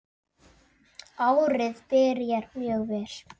Árið byrjar mjög vel.